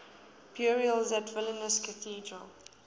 burials at vilnius cathedral